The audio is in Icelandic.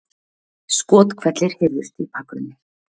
Skothvellir heyrðust í bakgrunni